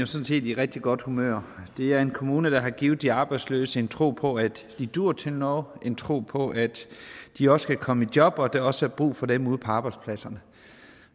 set i rigtig godt humør det er en kommune der har givet de arbejdsløse en tro på at de duer til noget en tro på at de også kan komme i job og at der også er brug for dem ude på arbejdspladserne